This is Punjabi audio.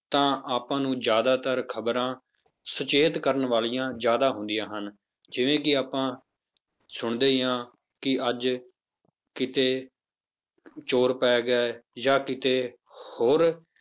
ਤਾਂ ਆਪਾਂ ਨੂੰ ਜ਼ਿਆਦਾਤਰ ਖ਼ਬਰਾਂ ਸੁਚੇਤ ਕਰਨ ਵਾਲੀਆਂ ਜ਼ਿਆਦਾ ਹੁੰਦੀਆਂ ਹਨ ਜਿਵੇਂ ਕਿ ਆਪਾਂ ਸੁਣਦੇ ਹੀ ਹਾਂ ਕਿ ਅੱਜ ਕਿਤੇ ਚੋਰ ਪੈ ਗਏ ਜਾਂ ਕਿਤੇ ਹੋਰ,